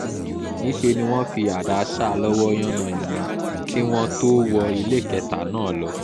níṣẹ́ ni wọ́n fi àdá sá a lọ́wọ́ yánnayànna kí wọ́n tóó wọ iléekétà náà lọ